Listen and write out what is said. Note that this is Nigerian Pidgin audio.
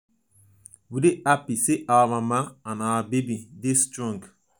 we dey happy sey our mama and our baby dey strong.